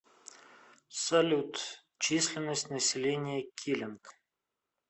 салют численность населения килинг